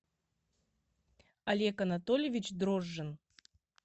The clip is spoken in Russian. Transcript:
олег анатольевич дрожжин